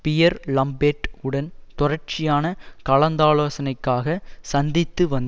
pier Lambert உடன் தொடர்ச்சியான கலந்தாலோசனைக்காக சந்தித்து வந்